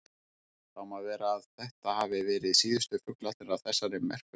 Það má vera að þetta hafi verið síðustu fuglarnir af þessari merku tegund.